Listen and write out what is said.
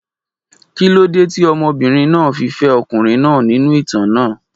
Kí ló dé tí obìnrin náà fi fẹ́ ọkùnrin náà nínú ìtàn náà?